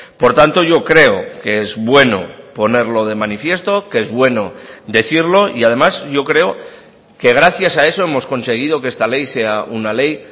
por tanto yo creo que es bueno ponerlo de manifiesto que es bueno decirlo y además yo creo que gracias a eso hemos conseguido que esta ley sea una ley